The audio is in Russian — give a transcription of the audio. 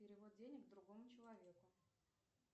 перевод денег другому человеку